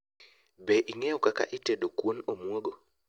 Be, ing'eyo kaka itedo kuon omwogo?